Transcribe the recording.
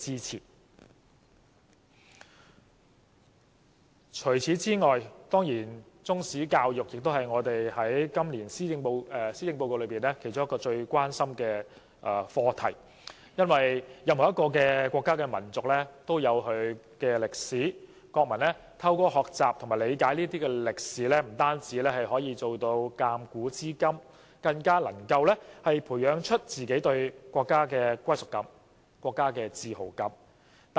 除此之外，中史教育也是今年施政報告其中一項最關心的課題，因為每個國家民族都有其歷史，國民透過學習和理解歷史，不但可以鑒古知今，更能培養對自己國家的歸屬感和自豪感。